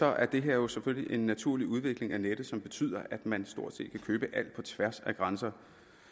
er det her jo selvfølgelig en naturlig udvikling af nettet som betyder at man stort set kan købe alt på tværs af grænser